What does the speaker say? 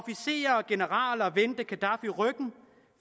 generaler vendte gaddafi ryggen